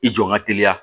I jɔ n ka teliya